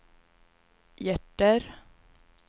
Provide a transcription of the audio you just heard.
hjärter